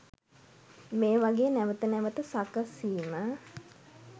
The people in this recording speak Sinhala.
මේවාගේ නැවත නැවත සකසීම